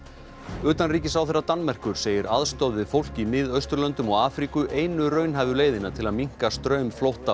utanríkisráðherra Danmerkur segir aðstoð við fólk í Miðausturlöndum og Afríku einu raunhæfu leiðina til að minnka straum flótta og